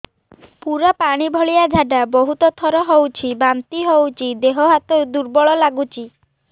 ପୁରା ପାଣି ଭଳିଆ ଝାଡା ବହୁତ ଥର ହଉଛି ବାନ୍ତି ହଉଚି ଦେହ ହାତ ଦୁର୍ବଳ ଲାଗୁଚି